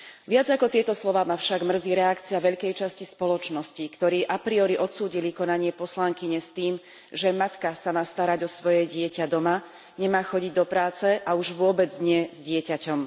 Viac ako tieto slová ma však mrzí reakcia veľkej časti spoločnosti, ktorá a priori odsúdila konanie poslankyne s tým, že matka sa má starať o svoje dieťa doma, nemá chodiť do práce, a už vôbec nie s dieťaťom.